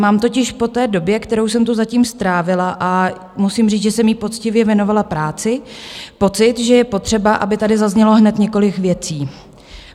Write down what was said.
Mám totiž po té době, kterou jsem tu zatím strávila, a musím říct, že jsem ji poctivě věnovala práci, pocit, že je potřeba, aby tady zaznělo hned několik věcí.